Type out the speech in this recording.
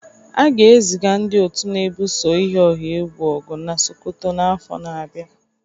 A ga-eziga ndị otu na-ebuso iyi ọha egwu ọgụ na Sokoto n'afọ na-abịa.